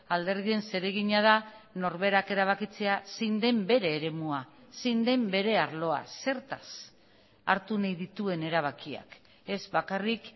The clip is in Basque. alderdien zeregina da norberak erabakitzea zein den bere eremua zein den bere arloa zertaz hartu nahi dituen erabakiak ez bakarrik